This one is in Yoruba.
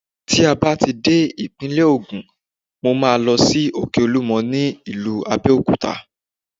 Tí a bá ti dé ìpínlè Ògùn, mo máa lọ sí Òkè Olúmọ ní ìlú Abẹ́òkúta.